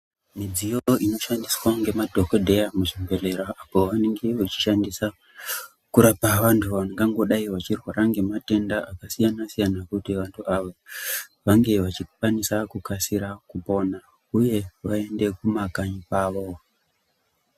Midziyo ino shandiswa nge madhokodheya mu zvibhedhlera apo vanenge vachi shandisa kurapa vantu vangangodai vachi rwara ne matenda aka siyana siyana kuti vantu ava vange vachi kwanisa kukasira kupona uye vaende ku makanyi kwavo.